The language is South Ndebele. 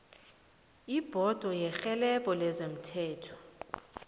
ibhodo yerhelebho lezomthetho